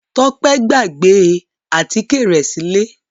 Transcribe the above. Tọ́pẹ́ gbàgbé àtíkè rẹ̀ sílé.